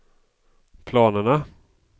planerna